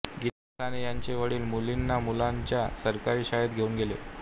गीता साने यांचे वडील मुलींना मुलांच्या सरकारी शाळेत घेऊन गेले